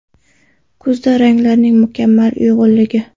Kuzda ranglarning mukammal uyg‘unligi .